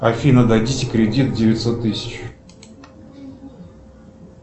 афина дадите кредит девятьсот тысяч